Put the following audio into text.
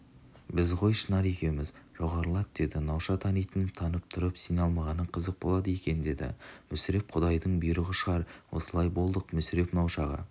біз ғой шынар екеуміз жоғарылат деді науша тануын танып тұрып сене алмағаның қызық болады екендеді мүсіреп құдайдың бұйрығы шығар осылай болдық мүсіреп наушаға